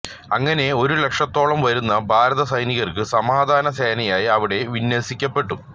അങ്ങനെ ഒരു ലക്ഷത്തോളം വരുന്ന ഭാരത സൈനികര് സമാധാന സേനയായി അവിടെ വിന്യസിക്കപ്പെട്ടു